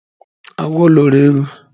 Agwo loro ewu